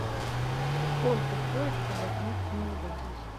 сколько стоит чтобы отметить новый год здесь